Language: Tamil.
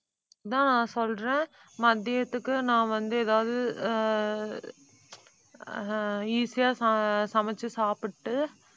அதான் சொல்றேன். மதியத்துக்கு நான் வந்து ஏதாவது அஹ் அஹ் easy ஆ ச~ சமைச்சு சாப்பிட்டு,